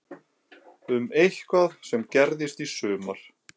Um eitthvað sem gerðist í sumar?